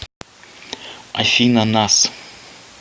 афина нас